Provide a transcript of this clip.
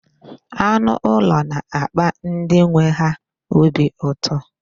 Anụ ụlọ na-akpa ndị nwe ha obi ụtọ.